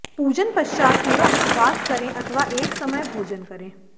पूजन पश्चात पूरा उपवास करें अथवा एक समय भोजन करें